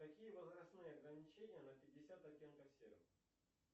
какие возрастные ограничения на пятьдесят оттенков серого